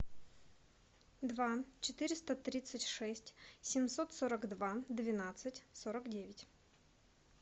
два четыреста тридцать шесть семьсот сорок два двенадцать сорок девять